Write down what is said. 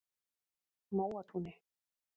Móatúni